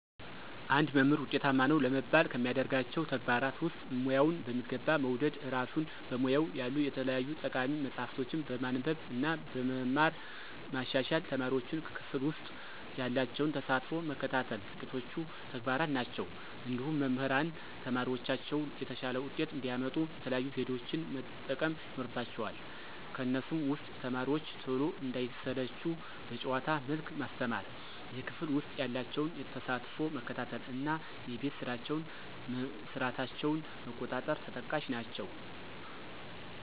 አንድ መምህር ውጤታማ ነው ለመባል ከሚያደርጋቸው ተግባራት ውስጥ፦ ሙያውን በሚገባ መውደድ፣ እራሱን በሙያው ያሉ የተለያዩ ጠቃሚ መፅሀፎችን በማንበብ እና በመማር ማሻሻል፣ ተማሪዎቹን ክፍል ውሰጥ ያላቸውን ተሳትፎ መከታተል ጥቂቶቹ ተግባራት ናቸው። እንዲሁም መምህራን ተማሪዎቻቸው የተሻለ ውጤት እንዲያመጡ የተለያዩ ዘዴዎችን መጠቀም ይኖርባቸዋል ከነሱም ውስጥ፦ ተማሪዎቹ ቶሎ እንዳይሰለቹ በጨዋታ መልክ ማስተማር፣ የክፍል ውስጥ ያላቸውን ተሳትፎ መከታተል እና የቤት ስራቸውን መስራታቸውን መቆጣጠር ተጠቃሽ ናቸው።